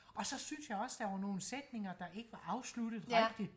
og så synes jeg også der var nogle sætninger der ikke var afsluttet rigtigt